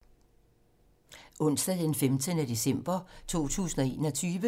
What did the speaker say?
Onsdag d. 15. december 2021